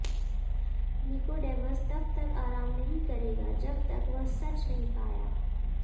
Nicodemus तब तक आराम नहीं करेगा जब तक वह सच नहीं पाया